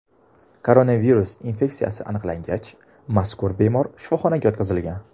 Koronavirus infeksiyasi aniqlangach, mazkur bemor shifoxonaga yotqizilgan.